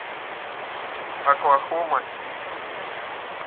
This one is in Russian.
оклахома сити